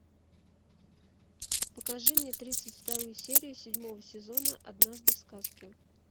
покажи мне тридцать вторую серию седьмого сезона однажды в сказке